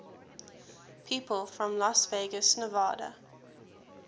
people from las vegas nevada